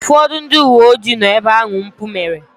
Ụfọdụ ndị uwe ojii nọ ebe ahụ mpụ mere.